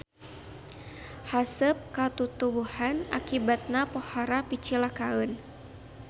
Haseup ka tutuwuhan akibatna pohara picilakaeun.